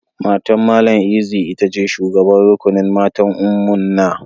Matan Mallam Eze ita ce shugaban rukunin matan Ummuna.